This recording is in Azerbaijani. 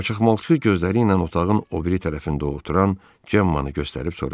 Qaçaqmalçı gözləri ilə otağın o biri tərəfində oturan Cemmaı göstərib soruşdu.